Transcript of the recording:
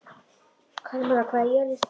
Kalmara, hvað er jörðin stór?